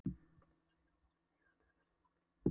Líkamsrækt og ástundun íþrótta er börnum og unglingum nauðsyn.